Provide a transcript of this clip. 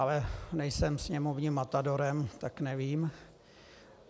Ale nejsem sněmovním matadorem, tak nevím.